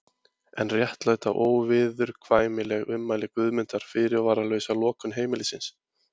En réttlæta óviðurkvæmileg ummæli Guðmundar fyrirvaralausa lokun heimilisins?